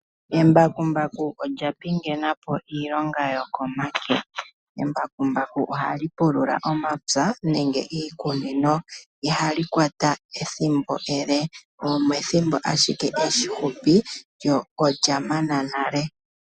Embakumbaku olya pingena po iilonga yokomake. Embakumbaku ohali pulula omapya nenge iikunino. Ihali kwata ethimbo ele, omethimbo ashike efupi, lyo olyamana nale.